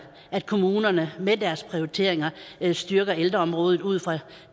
at kommunerne i deres prioritering styrker ældreområdet ud fra